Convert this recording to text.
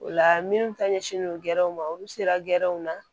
O la minnu ta ɲɛsinlen don gɛrɛnw ma olu sera gɛrɛnw na